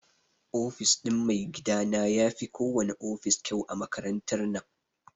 Ofis ɗin maigidana yafi ko wana ofis kyau a makarantar nan.